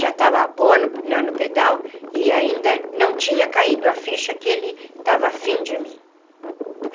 Já estava boa na no pedal e ainda não tinha caído a ficha que ele estava afim de mim.